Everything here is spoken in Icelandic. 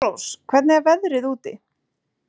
Svanrós, hvernig er veðrið úti?